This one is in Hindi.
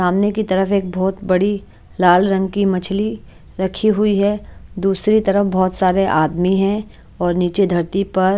सामने की तरफ एक बहोत बड़ी लाल रंग की मछली रखी हुई है दूसरी तरफ बहोत सारे आदमी है और नीचे धरती पर--